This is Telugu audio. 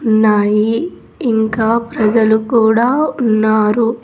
ఉన్నాయి ఇంకా ప్రజలు కూడా ఉన్నారు.